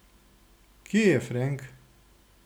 Kje je Frenk?